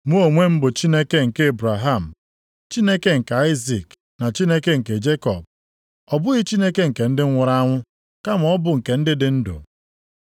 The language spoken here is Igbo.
Mụ onwe m bụ Chineke nke Ebraham, Chineke nke Aịzik na Chineke nke Jekọb. + 22:32 \+xt Ọpụ 3:6\+xt* Ọ bụghị Chineke nke ndị nwụrụ anwụ, kama ọ bụ nke ndị dị ndụ.”